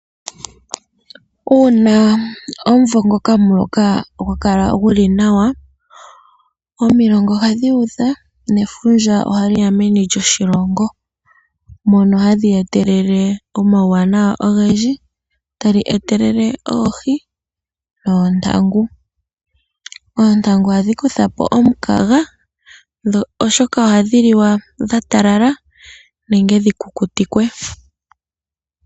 Uuna omumvo ngoka omuloka gwa kala gu li nawa, ilonga ohadhi udha nefundja ohali ya meni lyoshilongo mono hali etelele omauwanawa ogendji. Ohali etelele oohi noontangu. Oontangu ohadhi kutha po omukaga, oshoka ohadhi liwa sha talala nenge dhi kukutikwe.